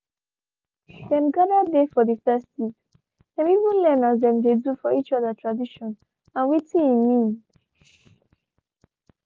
dem gather dey for the festivethem even learn as dem dey do for each other tradition and watin he mean.